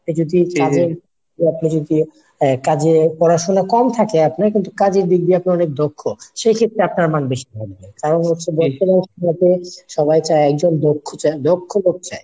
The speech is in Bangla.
আপনি যদি কাজের আপনি যদি কাজে পড়াশুনা কম থাকে আপনার কিন্তু কাজের দিক দিয়ে আপনি অনেক দক্ষ সেক্ষেত্রে আপনার মান বেশি থাকবে। কারণ হচ্ছে বর্তমান সময়তে সবাই চায় একজন দক্ষ চায় দক্ষ লোক চায়